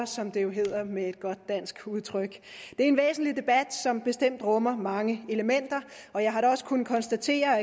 som det jo hedder med et godt dansk udtryk det er en væsentlig debat som bestemt rummer mange elementer og jeg har da også kunnet konstatere at